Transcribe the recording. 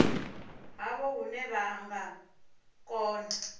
havho hune vha nga kona